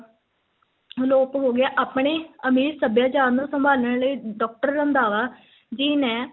ਅਲੋਪ ਹੋ ਗਿਆ, ਆਪਣੇ ਅਮੀਰ ਸੱਭਿਆਚਾਰ ਨੂੰ ਸੰਭਾਲਨ ਲਈ doctor ਰੰਧਾਵਾ ਜੀ ਨੇ,